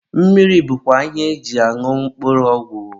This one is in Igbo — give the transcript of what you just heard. mmiri bụkwa ihe eji añụ mkpụrụ ọgwụ.